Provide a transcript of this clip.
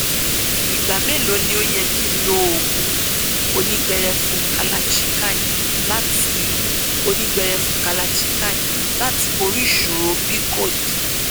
ìgbà mélòó ni ó yẹ kí n lo oògùn onígbẹrẹfu kalachikai láti onígbẹrẹfu kalachikai láti borí ìṣòro pcod